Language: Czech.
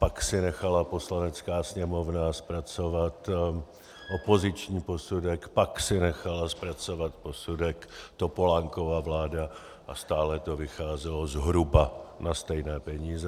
Pak si nechala Poslanecká sněmovna zpracovat opoziční posudek, pak si nechala zpracovat posudek Topolánkova vláda a stále to vycházelo zhruba na stejné peníze.